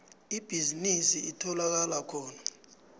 ibhizinisi itholakala khona